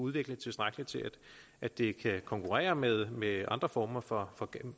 udviklet tilstrækkeligt til at det kan konkurrere med med andre former for